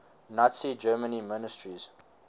nazi germany ministers